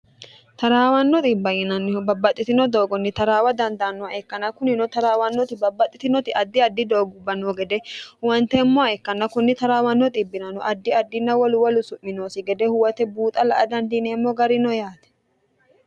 taraawanno xibba yinannihu babbaxxitino doogonni taraawa dandaanno ikkanna kunino taraawannoti babbaxxitinoti addi addi doogubba nno gede huwanteemmoha ikkanna kunni taraawanno xiibbirano addi addinna wolu wolu su'mi noosi gede huwate buuxa la'a dandiineemmo gari no yaati